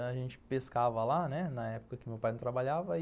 A gente pescava lá, né, na época que meu pai não trabalhava.